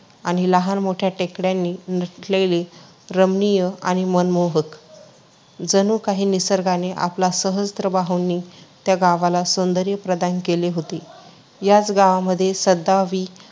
आणि लहान मोठ्या टेकड्यांनी नटलेले रमणीय आणि मनमोहक. जणू काही निसर्गाने आपल्या सहस्र बाहूंनी त्या गावाला सौंदर्य प्रदान केले होते.